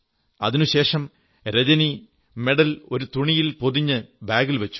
അതിനുശേഷം രജനി മെഡൽ ഒരു തുണിയിൽ പൊതിഞ്ഞ് ബാഗിൽ വച്ചു